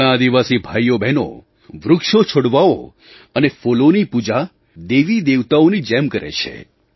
આપણાં આદિવાસી ભાઈઓબહેનો વૃક્ષોછોડવાઓ અને ફૂલોની પૂજા દેવીદેવતાઓની જેમ કરે છે